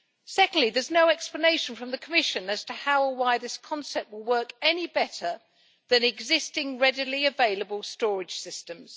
Secondly, there is no explanation from the Commission as to how or why this concept will work any better than existing readily available storage systems.